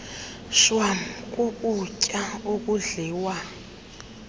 shwam kukutya okudliwa